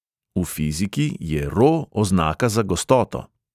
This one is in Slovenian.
V fiziki je ro oznaka za gostoto.